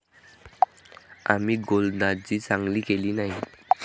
आम्ही गोलंदाजी चांगली केली नाही.